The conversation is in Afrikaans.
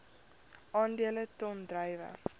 aandele ton druiwe